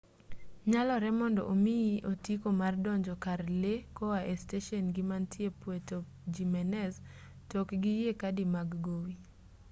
nyalore mondo omiyi otiko mar donjo kar lee koa e steshen-gii mantie puerto jimenez to ok giyie kadi mag gowi